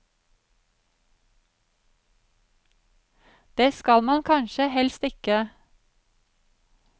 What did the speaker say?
Det skal man kanskje helst ikke.